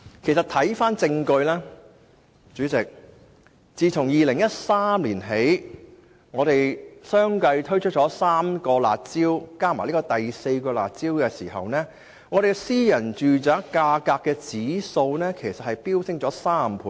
主席，一些證據顯示，我們自2013年起先後3次推出"辣招"，再加上這次的第四項"辣招"，私人住宅價格指數已飆升3倍。